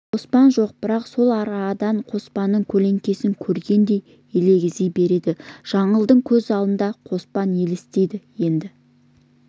қоспан жоқ бірақ сол арадан қоспанның көлеңкесін көргендей елегзи береді жаңылдың көз алдына қоспан елестейді енді